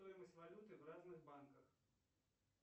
стоимость валюты в разных банках